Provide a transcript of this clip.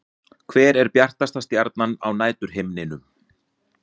Hver er bjartasta stjarnan á næturhimninum?